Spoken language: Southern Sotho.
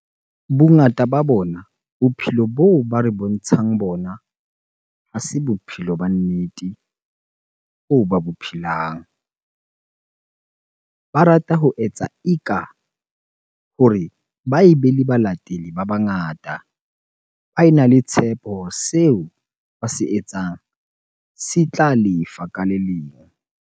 Bongata ba bona bophelo boo ba re bontshang bona ha se bophelo ba nnete boo ba bo phelang. Ba rata ho etsa e ka hore ba ebe le balatedi ba bangata, ba ena le tshepo seo ba se etsang se tla lefa ka le leng.